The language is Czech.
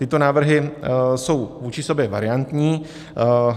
Tyto návrhy jsou vůči sobě variantní.